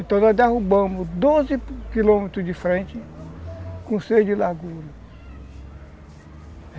Então nós derrubamos doze quilômetros de frente com o seis de largura.